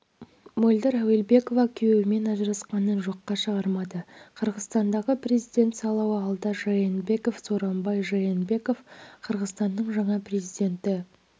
мөлдір әуелбекова күйеуімен ажырасқанын жоққа шығармады қырғызстандағы президент сайлауы алда жээнбеков сооронбай жээнбеков қырғызстанның жаңа президенті